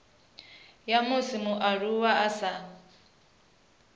ya musi mualuwa a sa